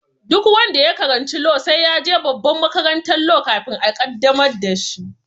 Duk wanda ya karanci law sai ya je babban makarantan law kafin a qaddamar da shi